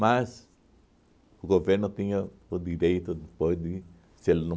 Mas o governo tinha o direito depois de se ele não